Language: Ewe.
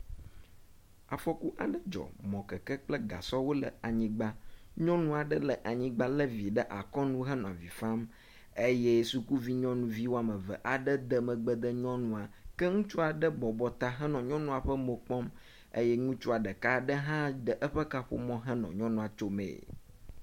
Afɔku aɖe dzɔ mɔkekek kple gasɔwo le anyigba. Nyɔnu aɖe le anyigba le vi ɖe akɔnu henɔ avi fam eye sukuvi nyɔnu wɔme eve aɖe de megbe ne nyɔnua. Ke ŋutsu aɖe bɔbɔta henɔ nyɔnua ƒe mo kpɔm. ke Ŋutsua ɖeka hã ɖe eƒe kaƒomɔ kɔ nɔ nyɔnua tsomee.